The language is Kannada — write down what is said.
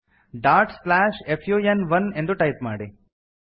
dot slash F U N one ಎಂದು ಟೈಪ್ ಮಾಡಿ